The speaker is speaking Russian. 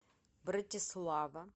братислава